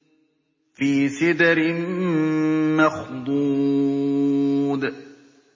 فِي سِدْرٍ مَّخْضُودٍ